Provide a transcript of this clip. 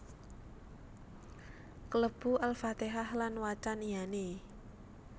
Klebu Al Fatihah lan wacan iyané